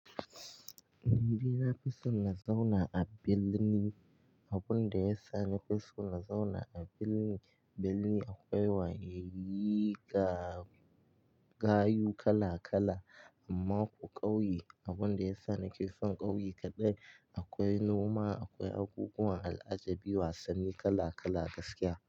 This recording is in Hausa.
Nidai fison na zauna a birni. Abun da ya sa na fi so na zauna a birni, birni akwai waye, rigar, kayu kala-kala. Amma ƙauye, abun da ya sa na ke son ƙauye kaɗai akwai noma, akwai abubuwan al'ajabi, wasanni kala-kala gaskiya.